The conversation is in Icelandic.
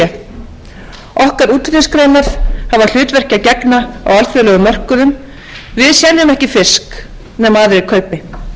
á alþjóðlegum mörkuðum við seljum ekki fisk nema aðrir kaupi virðulegur forseti ný ríkisstjórn jóhönnu sigurðardóttur tekur nú